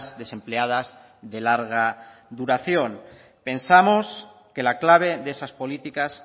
desempleadas de larga duración pensamos que la clave de esas políticas